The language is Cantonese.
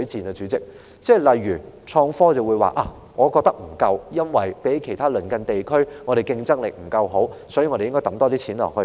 例如有議員認為在創科方面投放的資源不足，因為相較其他鄰近地區，香港的競爭力不足，所以，政府應增加撥款。